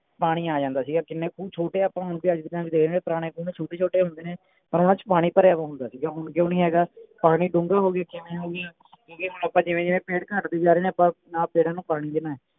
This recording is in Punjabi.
ਪਾਣੀ ਆ ਜਾਂਦਾ ਸੀਗਾ ਕਿੰਨੇ ਖੂਹ ਛੋਟੇ ਆਪਾਂ ਹੁਣ ਅੱਜ ਦੇ ਟੈਮ ਚ ਦੇਖਦੇ ਹੈ ਪੁਰਾਣੇ ਖੂਹ ਛੋਟੇ ਛੋਟੇ ਹੁੰਦੇ ਨੇ ਪਰ ਓਹਨਾ ਚ ਪਾਣੀ ਭਰਿਆ ਹੁੰਦਾ ਸੀਗਾ ਹੁਣ ਕਿਉਂ ਨਹੀਂ ਹੈਗਾ ਪਾਣੀ ਡੂੰਗਾ ਹੋ ਗਿਆ ਕਿਵੇਂ ਹੋ ਗਿਆ ਕਿਓਂਕਿ ਹੁਣ ਆਪਾਂ ਜਿਵੇਂ ਜਿਵੇਂ ਪੇੜ ਘਟਦੇ ਜਾ ਰਹੇ ਨੇ ਆਪਾਂ ਨਾ ਪੈੜਾਂ ਨੂੰ ਪਾਣੀ ਦੇਣੇ